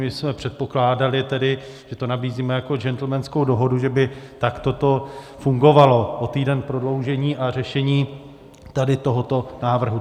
My jsme předpokládali tedy, že to nabízíme jako gentlemanskou dohodu, že by takto to fungovalo, o týden prodloužení a řešení tady tohoto návrhu.